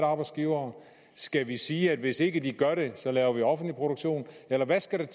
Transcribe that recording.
arbejdsgivere skal vi sige at hvis ikke de gør det laver vi offentlig produktion eller hvad skal der